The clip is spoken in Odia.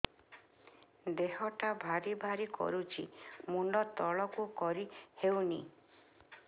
ଦେହଟା ଭାରି ଭାରି କରୁଛି ମୁଣ୍ଡ ତଳକୁ କରି ହେଉନି